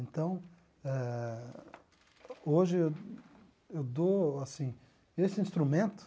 Então, eh hoje eu eu dou assim... Esse instrumento...